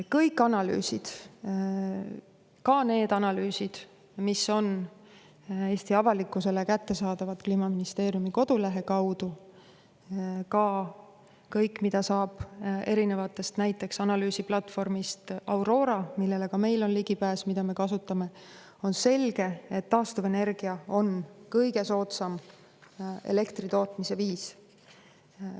Kõik analüüsid, ka need analüüsid, mis on Eesti avalikkusele kättesaadavad Kliimaministeeriumi kodulehe kaudu, samuti kõik, mida saab mujalt, näiteks analüüsiplatvormilt Aurora, millele ka meil on ligipääs ja mida me kasutame, näitavad, et on selge, et taastuvenergia on kõige soodsam elektri tootmise viis.